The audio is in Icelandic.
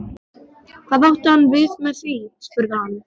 Hvað átti hann við með því? spurði hann.